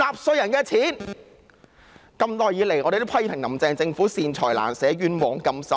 我們一直批評"林鄭"政府"善財難捨，冤枉甘心"。